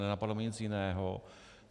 Nenapadlo mě nic jiného.